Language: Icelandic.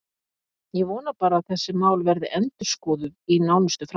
Ég vona bara að þessi mál verði endurskoðuð í nánustu framtíð.